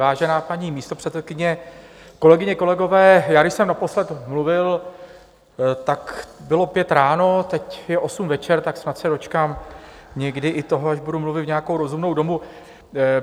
Vážená paní místopředsedkyně, kolegyně, kolegové, já když jsem naposled mluvil, tak bylo pět ráno, teď je osm večer, tak snad se dočkám někdy i toho, že budu mluvit v nějakou rozumnou dobu.